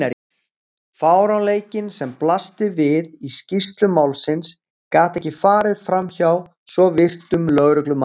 Fáránleikinn sem blasti við í skýrslum málsins gat ekki farið framhjá svo virtum lögreglumanni.